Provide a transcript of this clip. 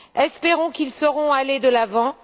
Espérons qu'ils sauront aller de l'avant.